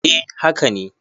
eh haka ne